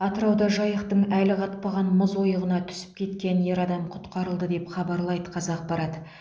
атырауда жайықтың әлі қатпаған мұз ойығына түсіп кеткен ер адам құтқарылды деп хабарлайды қазақпарат